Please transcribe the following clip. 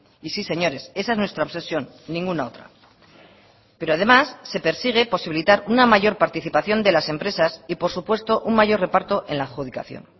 y sí señores esa es nuestra obsesión ninguna otra pero además se persigue posibilitar una mayor participación de las empresas y por supuesto un mayor reparto en la adjudicación